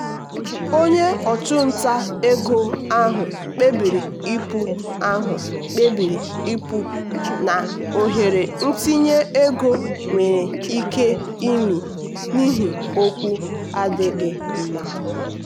onye ọchụnta ego ahụ kpebiri ịpụ ahụ kpebiri ịpụ na ohere itinye ego nwere ike ime n'ihi okwu adịghị mma.